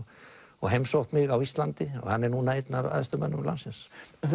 og heimsótt mig á Íslandi hann er núna einn af æðstu mönnum landsins